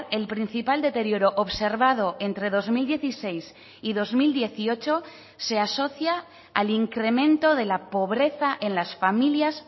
el principal deterioro observado entre dos mil dieciséis y dos mil dieciocho se asocia al incremento de la pobreza en las familias